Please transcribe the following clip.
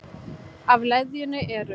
Af leðjunni eru